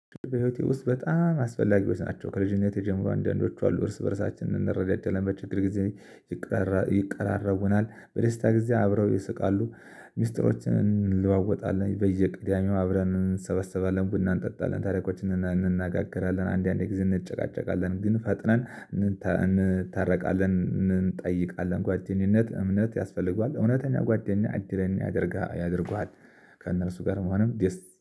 በህይወቴ ውስጥ በጣም አስፈላጊዎች ናቸው ከልጅነቴ ጀምሮ አንዳንዶቹ አሉ እርስ በራሳችን እንረዳደለን በችግር ጊዜ። ይቀራረብናል በደስታ ጊዜ አብረው ይስቃሉ። ሚስጥሮችን እንለዋወጣለን በየቅዳሜው አብረን እንሰበሰባለን ቡና እንጠጣለን ታሪኮችን እንናገራለን። አንዳንዴ ጊዜ እንጨቃጨቃለን ግን ፈጥነን እንታረቃለን። እንጠይቃለን ጓደኝነት እምነት ያስፈልገዋል እውነተኛ ጓደኛ እድለኛ ያደርጋል ያደርገዋል። ከእነርሱ ጋር መሆንም ደስ